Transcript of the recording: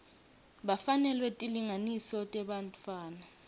bafanelwa tilinganiso tebantfwana